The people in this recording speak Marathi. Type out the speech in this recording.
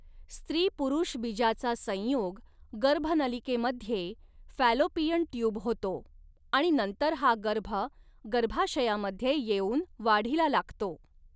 स्त्री पुरुषबीजाचा संयोग गर्भनलिकेमध्ये फॅलोपियन ट्यूब होतो आणि नंतर हा गर्भ गर्भाशयामध्ये येऊन वाढीला लागतो.